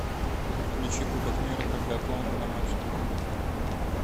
включи кубок мира по биатлону на матч тв